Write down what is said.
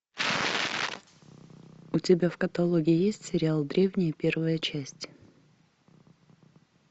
у тебя в каталоге есть сериал древние первая часть